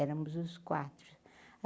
Éramos os quatro.